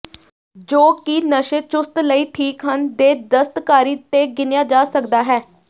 ਜੋ ਕਿ ਨਸ਼ੇ ਚੁਸਤ ਲਈ ਠੀਕ ਹਨ ਦੇ ਦਸਤਕਾਰੀ ਤੇ ਗਿਣਿਆ ਜਾ ਸਕਦਾ ਹੈ